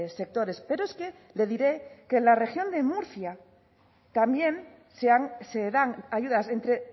sectores pero es que le diré que en la región de murcia también se dan ayudas entre